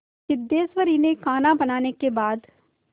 सिद्धेश्वरी ने खाना बनाने के बाद